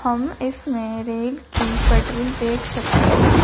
हम इसमे रेल की पटरी देख सकते हैं।